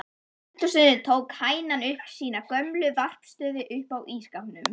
Í eldhúsinu tók hænan upp sína gömlu varðstöðu uppá ísskápnum.